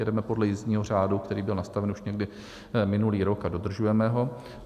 Jedeme podle jízdního řádu, který byl nastaven už někdy minulý rok, a dodržujeme ho.